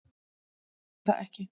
Þeir gerðu það ekki